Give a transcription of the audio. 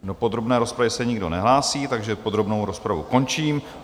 Do podrobné rozpravy se nikdo nehlásí, takže podrobnou rozpravu končím.